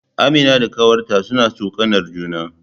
Amina da ƙanwarta suna tsokanar juna